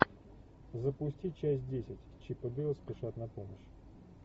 запусти часть десять чип и дейл спешат на помощь